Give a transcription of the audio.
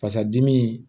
Fasa dimi